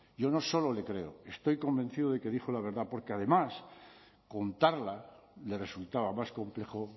yo no solo le creo estoy convencido de que dijo la verdad porque además contarla le resultaba más complejo